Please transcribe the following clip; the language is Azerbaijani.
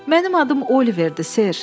Mənim adım Oliverdir, Ser.